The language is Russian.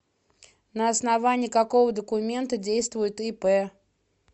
на основании какого документа действует ип